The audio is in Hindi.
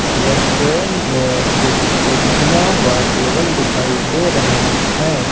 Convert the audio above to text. रेस्टोरेंट में कुछ कुर्सियां व टेबल दिखाई दे रहे हैं।